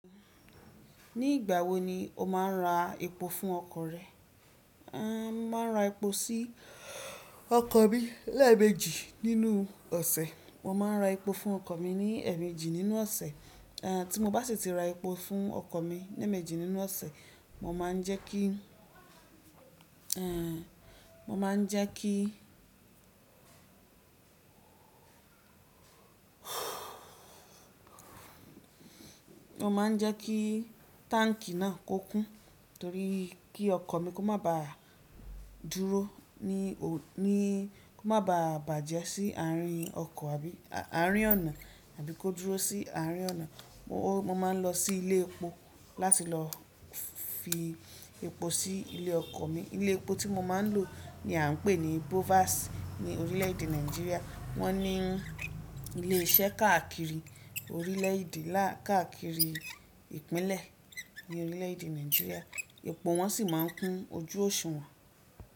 Ní ìgbà wo ni o máa ń ra epo fún ọkọ̀ rẹ? Aàn máa ń ra epo sí ọkọ̀ mi lẹ́ẹ̀mejì nínú ọ̀sẹ̀. Mo máa ń ra epo fún ọkọ̀ mi ní ẹ̀mejì nínú ọ̀sẹ̀. Aàn tí mo bá sì ti ra epo fún ọkọ̀ mi ní ìmejì nínú ọ̀sẹ̀, mo máa ń jẹ́ kí, mo máa ń jẹ́ kí, mo máa ń jẹ́ kí táǹkì náà kó kún torí kí ọkọ̀ mi kó má ba dúró ní ò— ní —kó má ba bàjẹ́ sí àárín ọkọ̀ àbí àárín ọ̀nà tàbí kó dúró sí àárín ọ̀nà. Mo, mo máa ń lọ sí ilé epo láti lọ fi epo sí ilé ọkọ̀ mi. Ilé epo tí mo máa ń lò ni a ń pè ní Bovas ní orílẹ̀ èdè Nàìjíríà. Wọ́n ní ilé iṣẹ́ káàkiri orílẹ̀èdè lá —káàkiri ìpínlẹ̀ ní orílẹ̀ èdè Nàìjíríà. Epo wọn sì máa ń kún ojú òṣùwọ̀n.